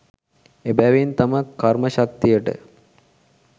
එබැවින් තම කර්ම ශක්තියට